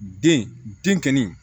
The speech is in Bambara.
Den den kɛli